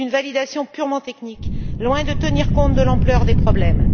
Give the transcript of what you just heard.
C'est une validation purement technique qui est loin de tenir compte de l'ampleur des problèmes.